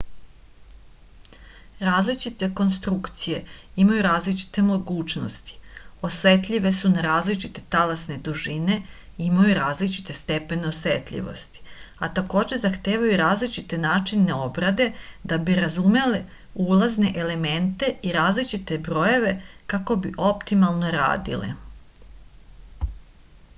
različite konstrukcije imaju različite mogućnosti osetljive su na različite talasne dužine i imaju različite stepene osetljivosti a takođe zahtevaju različite načine obrade da bi razumele ulazne elemente i različite brojeve kako bi optimalno radile